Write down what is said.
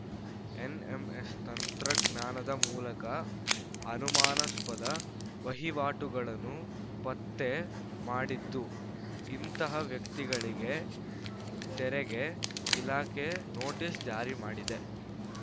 NMS ತಂತ್ರಜ್ಞಾನದ ಮೂಲಕ ಅನುಮಾನಾಸ್ಪದ ವಹಿವಾಟುಗಳನ್ನು ಪತ್ತೆ ಮಾಡಿದ್ದು ಇಂಥ ವ್ಯಕ್ತಿಗಳಿಗೆ ತೆರೆಗೆ ಇಲಾಖೆ ನೋಟಿಸ್‌ ಜಾರಿ ಮಾಡಿದೆ